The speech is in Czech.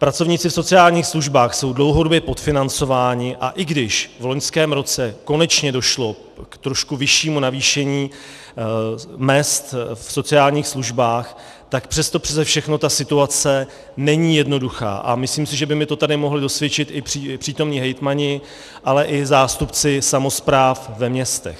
Pracovníci v sociálních službách jsou dlouhodobě podfinancovaní, a i když v loňském roce konečně došlo k trošku vyššímu navýšení mezd v sociálních službách, tak přesto přese všechno ta situace není jednoduchá a myslím si, že by mi to tady mohli dosvědčit i přítomní hejtmani, ale i zástupci samospráv ve městech.